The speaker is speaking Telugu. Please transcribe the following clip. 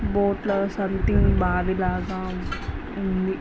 బోట్లో సమ్మతింగ్ బావి లాగా ఉంది.